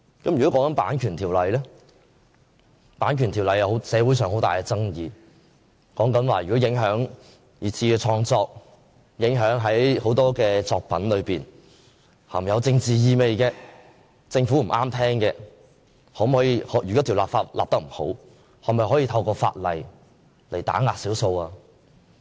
例如《版權條例》的修訂，社會上有很大爭議，如果影響二次創作，影響很多含有政治意味、政府覺得不中聽的作品，如果這項法例的修訂不完善，是否可以用來打壓少數？